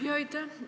Aitäh!